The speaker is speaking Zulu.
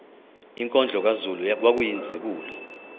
inkondlo kazulu kwakuyizibulo